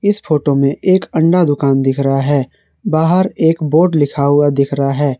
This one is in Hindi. इस फोटो मे एक अण्डा दुकान दिख रहा है बाहर एक बोर्ड लिखा हुआ दिख रहा है।